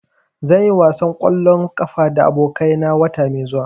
Zan yi wasan ƙwallon ƙafa da abokai na wata mai zuwa.